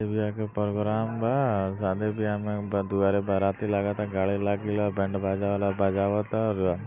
शादी व्याह के प्रोग्राम बा शादी व्याह में ब दुआरे बाराती लागता गाड़ी लागि ला बैंड बाजा वाला बाजावता और --